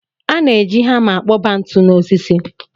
A na-eji hama akpọba ntu n'osisi